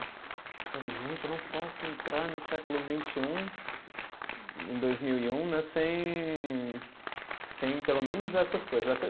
Falei, gente, eu não posso entrar no século vinte e um, em dois mil e um né, sem sem pelo menos essas coisas. Até